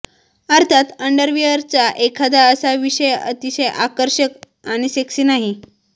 अर्थात अंडरवियरचा एखादा असा विषय अतिशय आकर्षक आणि सेक्सी नाही